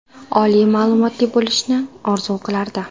Oliy ma’lumotli bo‘lishni orzu qilardi.